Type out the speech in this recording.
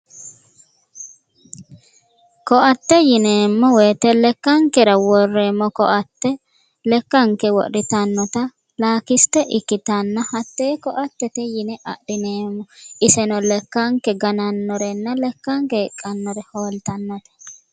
Koatte yineemmo woyite lekkankera worreeemmota lakisite ikkitanna iseno lekkanke ganannorenna hiiqqannore hoolltannote.